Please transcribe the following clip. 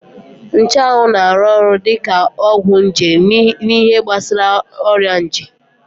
Nchanwụ na-arụ ọrụ dị ka ọgwụ nje n'ihe gbasara ọrịa nje